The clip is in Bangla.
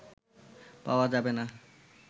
পাওয়া যাবেনা"